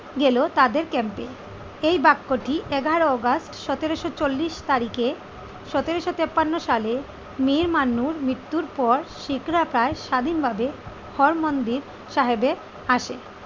গেল তাদের ক্যাম্পে। এই বাক্যটি এগারোই অগাস্ট সতেরোশো চল্লিশ তারিখে সতেরোশো তিপ্পান্ন সালে মীর মান্নুর মৃত্যুর পর শিখরা তার স্বাধীনভাবে হরমন্দির সাহেবে আসে।